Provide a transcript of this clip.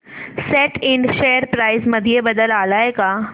सॅट Ind share price मध्ये बदल आलाय का